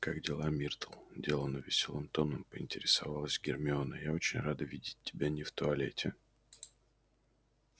как дела миртл деланно весёлым тоном поинтересовалась гермиона я очень рада видеть тебя не в туалете